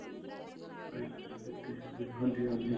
IELTS ਕੀਤੀ ਜਾਵੇਂ ਹਾਂਜੀ ਹਾਂਜੀ.